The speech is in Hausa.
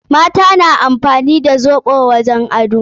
Mata na amfani da zobe wajen ado.